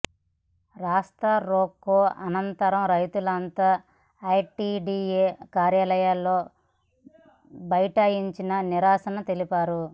రాస్తా రోకో అనంతరం రైతులంతా ఐటిడిఎ కార్యాలయంలో బైఠాయించి నిరసన తెలిపారు